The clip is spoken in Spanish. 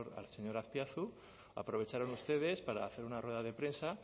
al señor azpiazu aprovecharon ustedes para hacer una rueda de prensa